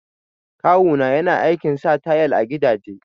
Kawu na yana aikin sa tayal a gidaje